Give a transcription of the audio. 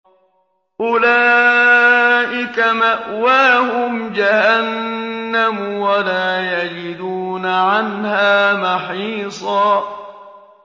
أُولَٰئِكَ مَأْوَاهُمْ جَهَنَّمُ وَلَا يَجِدُونَ عَنْهَا مَحِيصًا